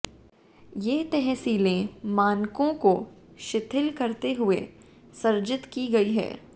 ये तहसीलें मानकों को शिथिल करते हुए सृजित की गई है